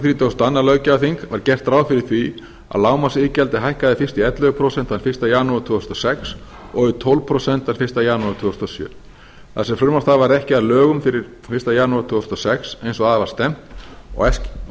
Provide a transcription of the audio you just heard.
þrítugasta og önnur löggjafarþing var gert ráð fyrir að lágmarksiðgjaldið hækkaði fyrst í ellefu prósent fyrsta janúar tvö þúsund og sex og í tólf prósent þann fyrsta janúar tvö þúsund og sjö þar sem það frumvarp varð ekki að lögum fyrir fyrsta janúar tvö þúsund og sex eins og að var stefnt og